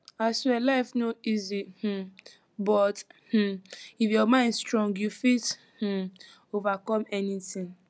aswear life no easy um but um if your mind strong you fit um overcome anything